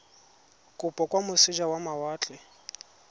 kopo kwa moseja wa mawatle